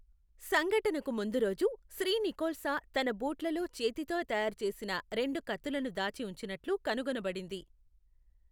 సంఘటనకు ముందు రోజు, శ్రీ నికోల్స తన బూట్లలో చేతితో తయారు చేసిన రెండు కత్తులను దాచి ఉంచినట్లు కనుగొనబడింది.